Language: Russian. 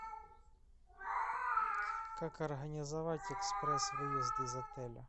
как организовать экспресс выезд из отеля